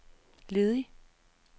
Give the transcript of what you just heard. ledig